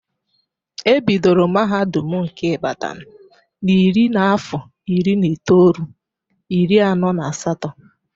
E bidoro mahadum nke Ibadan na iri n'afọ iri na itoolu, iri anọ na asatọ.